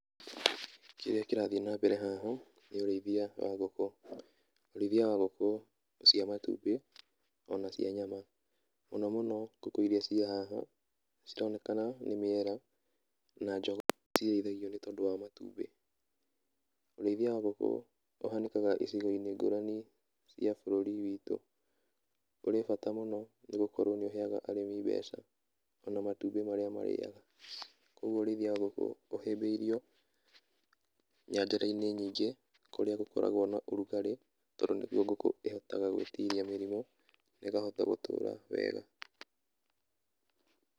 Kĩrĩa kĩrathiĩ na mbere haha nĩ ũrĩithia wa ngũkũ, ũrĩithia wa ngũkũ cia matumbĩ ona cia nyama, mũno mũno ngũkũ iria ciĩ haha cironekana nĩ mĩera na jogoo iria cirĩithagio nĩ tondũ wa matumbĩ, ũrĩithia wa ngũkũ ũhanĩkaga icigo-inĩ ngũrani cia bũrũri witũ, ũrĩ bata mũno nĩ gũkorwo nĩ ũheaga arĩmi mbeca o na matumbĩ marĩa marĩaga. Kũguo ũrĩithia wa ngũkũ ũhĩmbĩirio nyanjara-inĩ nyingĩ kũrĩa gũkoragwo na ũrugarĩ tondũ nĩguo ngũkũ ĩhotaga gwĩtiria mĩrimũ na ĩkahota gũtũra wega.